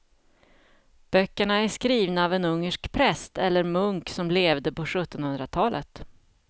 Böckerna är skrivna av en ungersk präst eller munk som levde på sjuttonhundratalet.